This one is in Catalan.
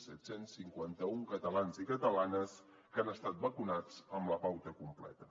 set cents i cinquanta un catalans i catalanes que han estat vacunats amb la pauta complerta